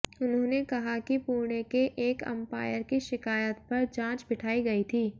उन्होंने कहा कि पुणे के एक अंपायर की शिकायत पर जांच बिठाई गई थी